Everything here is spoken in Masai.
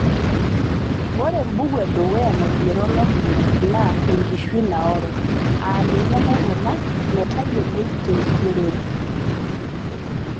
ore embuku edukuya naigero lomunyak naa "ekishui naoro" aa ninye naikuna metayioloi te nkigerore.